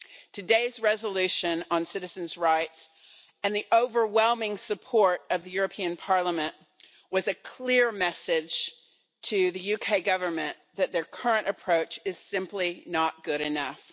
Today's resolution on citizens' rights, and the overwhelming support of the European Parliament, was a clear message to the UK Government that their current approach is simply not good enough.